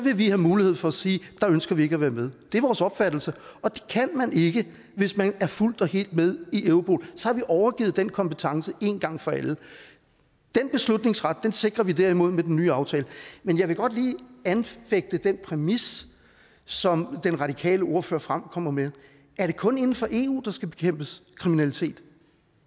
vi have mulighed for at sige der ønsker vi ikke at være med det er vores opfattelse og det kan man ikke hvis man er fuldt og helt med i europol så har vi overgivet den kompetence en gang for alle den beslutningsret sikrer vi derimod med den nye aftale men jeg vil godt lige anfægte den præmis som den radikale ordfører fremkommer med er det kun inden for eu der skal bekæmpes kriminalitet